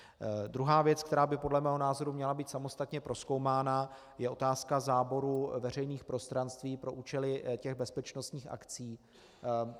Druhá věc, která by podle mého názoru měla být samostatně prozkoumána, je otázka záboru veřejných prostranství pro účely těch bezpečnostních akcí.